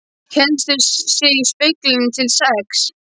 Héldu sig í speglinum til sex.